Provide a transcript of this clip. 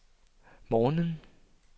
morgenen